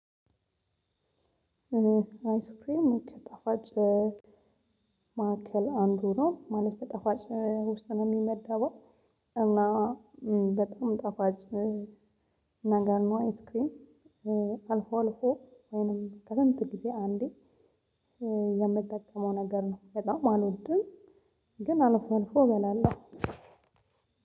አያስክሬም ከጠፋጭ ማዕከል አንዱ ነው ማለት በጠፋጭ ውስጥ ነው የሚመዳው። እና በጣም ጠፋጭ ነገር ነው። አያስክሬም አልፎ አልፎ ወይንም ከስንት ጊዜ አንዴ የምጠቀመው ነገር ነው። በጣም አልወድም። ግን አልፎ አልፎ እበላለሁ።